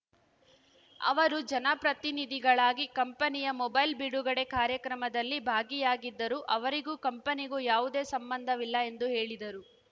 ಅವರು ಜನಪ್ರತಿನಿಧಿಗಳಾಗಿ ಕಂಪೆನಿಯ ಮೊಬೈಲ್‌ ಬಿಡುಗಡೆ ಕಾರ್ಯಕ್ರಮದಲ್ಲಿ ಭಾಗಿಯಾಗಿದ್ದರು ಅವರಿಗೂ ಕಂಪೆನಿಗೂ ಯಾವುದೇ ಸಂಬಂಧವಿಲ್ಲ ಎಂದು ಹೇಳಿದರು